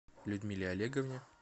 людмиле олеговне